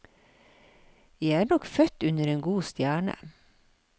Jeg er nok født under en god stjerne.